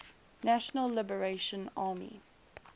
national liberation army